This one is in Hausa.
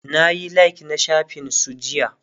nayi like na shafin su jiya